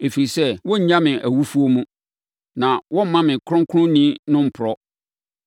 Ɛfiri sɛ, worennya me awufoɔ mu. Na woremma wo Kronkronni no mporɔ.